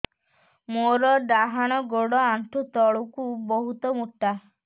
ମୋର ଡାହାଣ ଗୋଡ ଆଣ୍ଠୁ ତଳୁକୁ ବହୁତ ମୋଟା